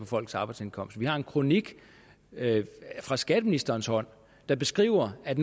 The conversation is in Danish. folks arbejdsindkomst vi har en kronik fra skatteministerens hånd der beskriver at